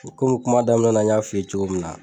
kuma daminɛ na n y'a f'i ye cogo min na.